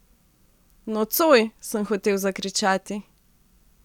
Nocoj, sem hotel zakričati.